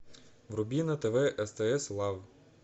вруби на тв стс лав